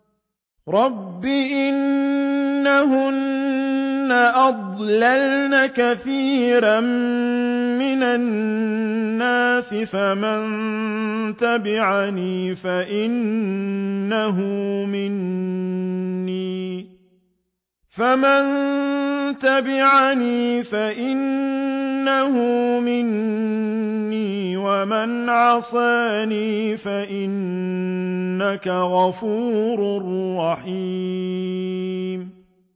رَبِّ إِنَّهُنَّ أَضْلَلْنَ كَثِيرًا مِّنَ النَّاسِ ۖ فَمَن تَبِعَنِي فَإِنَّهُ مِنِّي ۖ وَمَنْ عَصَانِي فَإِنَّكَ غَفُورٌ رَّحِيمٌ